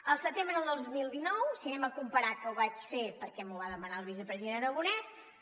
al setembre de dos mil dinou si ho comparem que ho vaig fer perquè m’ho va demanar el vicepresident aragonès